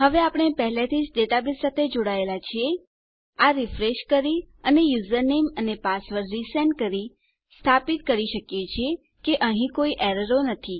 હવે આપણે પહેલાથીજ ડેટાબેઝ સાથે જોડાયેલા છીએ આ રીફ્રેશ કરી અને યુઝરનેમ અને પાસવર્ડ ફરીથી મોકલી આપણે સ્થાપિત કરી શકીએ છીએ કે અહીં કોઈ એરરો નથી